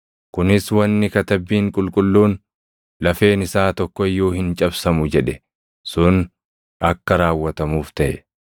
Kunis wanni Katabbiin Qulqulluun, “Lafeen isaa tokko iyyuu hin cabsamu” + 19:36 \+xt Bau 12:46; Lak 9:12; Far 34:20\+xt* jedhe sun akka raawwatamuuf taʼe.